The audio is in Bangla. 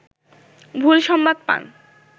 ভুল সংবাদ পান